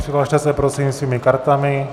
Přihlaste se, prosím svými kartami.